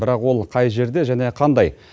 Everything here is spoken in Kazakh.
бірақ ол қай жерде және қандай